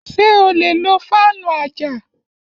Ṣé o lè lo fáànù àjà